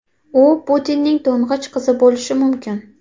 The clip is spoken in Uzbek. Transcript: U Putinning to‘ng‘ich qizi bo‘lishi mumkin .